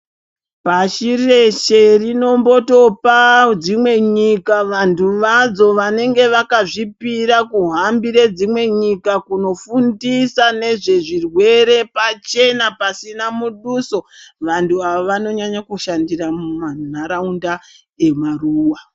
Pashi reshe rinombotopa dzimwe nyika vantu vadzo vanenge vakazvipira kuhambire dzimwe nyika kunofundisa nezvezvirwere pachena pasina muduso. Vantu ava vanonyanya kushandira mumantaraunda emaruwa.